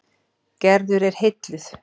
Gerður er heilluð.